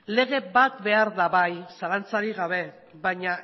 lege bat behar da bai zalantzarik gabe baina